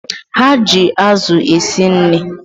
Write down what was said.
Ha ji azụ esi nri